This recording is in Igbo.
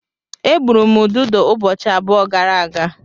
Egburu m ududo ụbọchị abụọ gara aga.